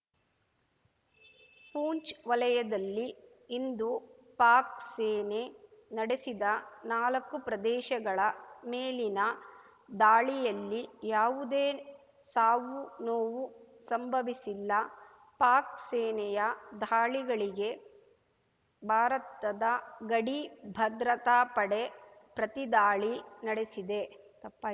ಪೂಂಚ್ ವಲಯದಲ್ಲಿ ಇಂದು ಪಾಕ್ ಸೇನೆ ನಡೆಸಿದ ನಾಲಕ್ಕು ಪ್ರದೇಶಗಳ ಮೇಲಿನ ದಾಳಿಯಲ್ಲಿ ಯಾವುದೇ ಸಾವು ನೋವು ಸಂಭವಿಸಿಲ್ಲ ಪಾಕ್ ಸೇನೆಯ ದಾಳಿಗಳಿಗೆ ಭಾರತದ ಗಡಿ ಭದ್ರತಾ ಪಡೆ ಪ್ರತಿದಾಳಿ ನಡೆಸಿದೆ ತಪ್